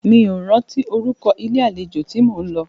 Mí ò rántí orúkọ ilé àlejò tí mó ń lọ.